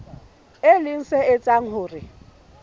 e leng se etsang hore